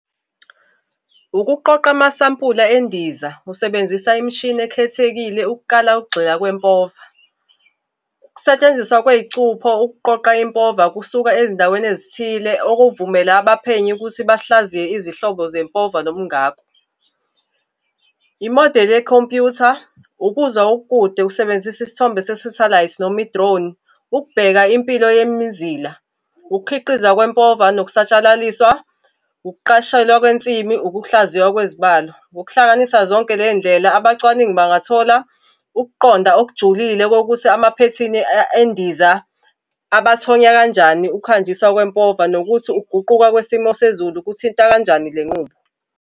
Ukuqoqa amasampula endiza usebenzisa imishini ekhethekile ukuqala ukugxila kwempova. Ukusetshenziswa kwey'cupho ukuqoqa impova kusuka ezindaweni ezithile okuvumela abaphenyi ukuthi bahlaziye izihlobo zempova nobungakho. Imodeli yekhompuyutha, ukuzwa ukude usebenzisa isithombe sesathelayithi noma i-drone, ukubheka impilo yemizila. Ukukhiqiza kwempova nokusatshalaliswa, ukuqashelwa kwensimi, ukukuhlaziywa kwezibalo. Ngokuhlanganisa zonke ley'ndlela abacwaningi bangathola ukuqonda okujulile kokuthi amaphethini endiza abathonya kanjani ukuhanjiswa kwempova nokuthi ukuguquka kwesimo sezulu kuthinta kanjani le nqubo.